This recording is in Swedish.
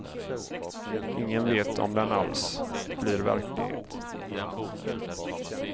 Ingen vet om den alls blir verklighet.